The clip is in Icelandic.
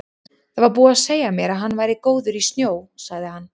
Það var búið að segja mér að hann væri góður í snjó, sagði hann.